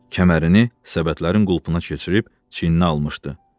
Kəmərini səbətlərin qulpuna keçirib çiyinə almışdı.